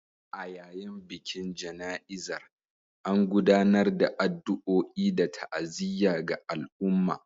A yayin bikin jana’izar, an gudanar da addu’o’i da ta’aziyya ga al’umma